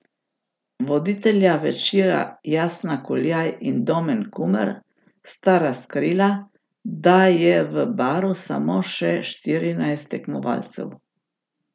Voditelja večera Jasna Kuljaj in Domen Kumer sta razkrila, da je v Baru samo še štirinajst tekmovalcev.